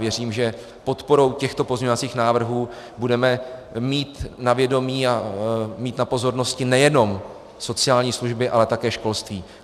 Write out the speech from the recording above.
Věřím, že podporou těchto pozměňovacích návrhů budeme mít na vědomí a mít na pozornosti nejenom sociální služby, ale také školství.